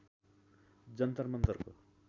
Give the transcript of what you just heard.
जन्तर मन्तरको